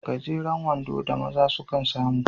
Gajeren wando da maza sukan samu